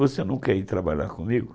Você não quer ir trabalhar comigo?